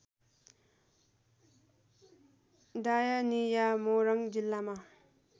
डायनिया मोरङ जिल्लामा